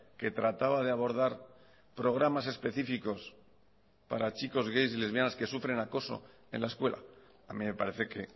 que trataba de abordar programas específicos para chicos gays y lesbianas que sufren acoso en la escuela a mí me parece que